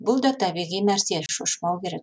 бұл да табиғи нәрсе шошымау керек